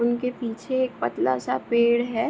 उनके पीछे एक पतला सा पेड़ है।